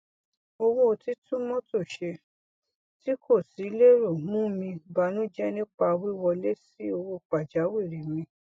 owó títún mọtò ṣe tí kò sí lérò mú mi banújẹ nípa wíwọlé sí owó pàjáwìrì mi